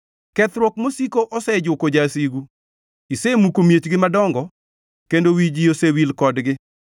Kethruok mosiko osejuko jasigu, isemuko miechgi madongo; kendo wi ji osewil kodgi.